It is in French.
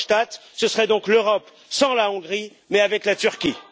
Verhofstadt ce serait donc l'Europe sans la Hongrie mais avec la Turquie.